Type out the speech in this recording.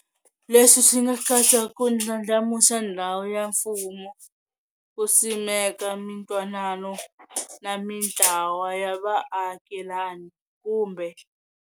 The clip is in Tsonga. Leswi swi nga katsa ku ndlandlamuxa ndhawu ya mfumo, ku simeka mintwanano na mintlawa ya vaakelani, kumbe.